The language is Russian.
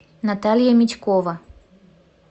наталья митькова